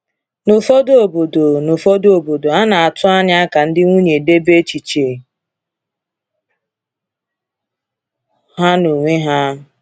N’ụfọdụ obodo, N’ụfọdụ obodo, a na-atụ anya ka ndị nwunye debe echiche ha n’onwe ha.